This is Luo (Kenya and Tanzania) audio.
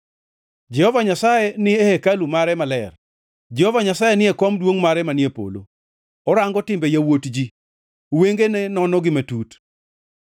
Jehova Nyasaye ni e hekalu mare maler; Jehova Nyasaye ni e kom duongʼ mare manie polo. Orango timbe yawuot ji; wengene nonogi matut.